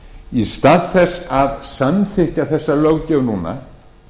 í stað þess að samþykkja þessa löggjöf núna